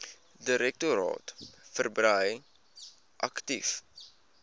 direktoraat verbrei aktief